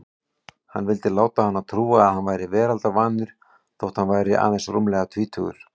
Hann vildi láta hana trúa að hann væri veraldarvanur þótt hann væri aðeins rúmlega tvítugur.